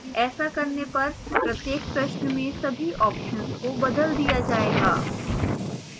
ऐसा करने पर प्रत्येक प्रश्न में सभी options को बदल दिया जाएगा